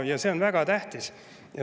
See on väga tähtis.